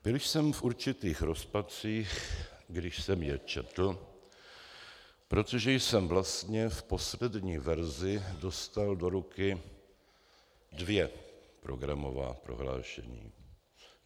Byl jsem v určitých rozpacích, když jsem je četl, protože jsem vlastně v poslední verzi dostal do ruky dvě programová prohlášení.